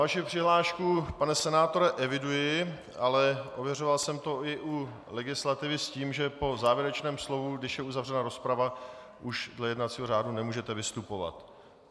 Vaši přihlášku, pane senátore, eviduji, ale ověřoval jsem to i u legislativy s tím, že po závěrečném slově, když je uzavřena rozprava, už dle jednacího řádu nemůžete vystupovat.